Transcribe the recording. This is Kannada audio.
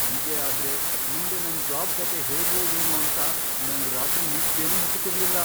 ಹೀಗೇ ಆದ್ರೆ ಮುಂದೆ ನನ್ ಜಾಬ್ ಕಥೆ ಹೇಗೋ ಏನೋ ಅಂತ ನಂಗ್ ರಾತ್ರಿ ನಿದ್ದೆನೇ ಹತ್ತುತಿರ್ಲಿಲ್ಲ.